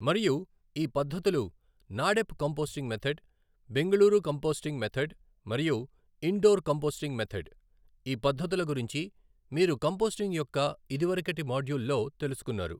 మరియు ఈ పద్ధతులు NADEP composting method, Bengaluru composting method మరియు ఇండోర్ కంపోస్టింగ్ మెధడ్, ఈ పద్ధతుల గురించి మీరు కంపోస్టింగ్ యొక్క ఇదివరకటి మాడ్యూల్లో తెలుసుకున్నారు.